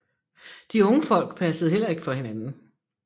De unge Folk passede heller ikke for hinanden